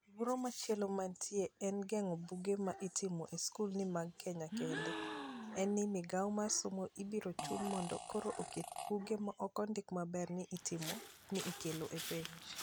Luoro machielo manitie e geng'o buge ma itimo e skul ni mag Kenya kende, en ni migao mar somo ibiro chun mindo koro oket buge maokondik maber ni itimo ni ikelo e penj.